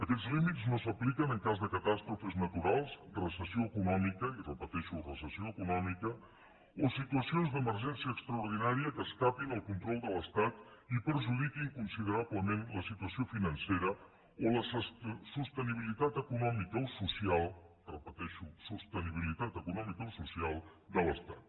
aquests límits no s’apliquen en cas de catàstrofes naturals recessió econòmica i repeteixo recessió econòmica o situacions d’emergència extraordinària que escapin del control de l’estat i perjudiquin considerablement la situació financera o la sostenibilitat econòmica o social repeteixo sostenibilitat econòmica o social de l’estat